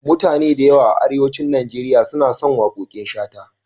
Mutane da yawa a Arewacin Nigeria suna son waƙoƙin Shata.